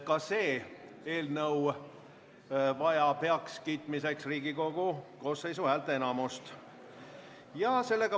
Ka see eelnõu vajab heakskiitmiseks Riigikogu koosseisu häälteenamust.